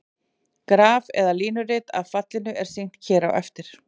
Graf eða línurit af fallinu er sýnt hér á eftir.